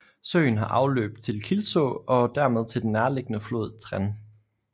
Søen har afløb til Kilså og dermed til den nærliggende flod Trene